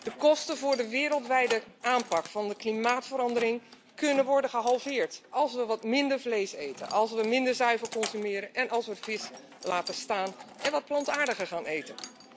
De kosten voor de wereldwijde aanpak van de klimaatverandering kunnen worden gehalveerd als we wat minder vlees eten, als we minder zuivel consumeren en als we vis laten staan en wat plantaardiger gaan eten.